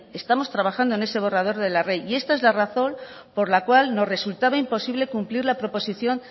estamos trabajando en ese borrador de la ley y esta es la razón por la cual nos resultaba imposible cumplir la proposición